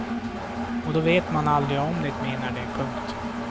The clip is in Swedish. Och då vet man aldrig om de menar det. punkt